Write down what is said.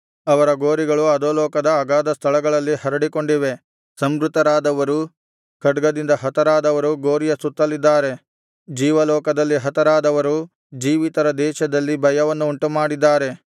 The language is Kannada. ಅವರ ಗೋರಿಗಳು ಅಧೋಲೋಕದ ಅಗಾಧ ಸ್ಥಳಗಳಲ್ಲಿ ಹರಡಿಕೊಂಡಿವೆ ಸಂಹೃತರಾದವರು ಖಡ್ಗದಿಂದ ಹತರಾದವರು ಗೋರಿಯ ಸುತ್ತಲಿದ್ದಾರೆ ಜೀವಲೋಕದಲ್ಲಿ ಹತರಾದವರು ಜೀವಿತರ ದೇಶದಲ್ಲಿ ಭಯವನ್ನು ಉಂಟುಮಾಡಿದ್ದಾರೆ